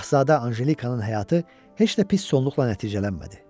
Şahzadə Anjelikanın həyatı heç də pis sonluqla nəticələnmədi.